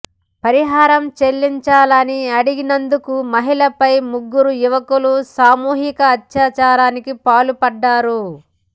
పరిహారం చెల్లించాలని అడిగినందుకు మహిళపై ముగ్గురు యువకులు సామూహిక అత్యాచారానికి పాల్పడ్డారు